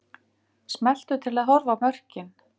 Smelltu til að horfa á mörkin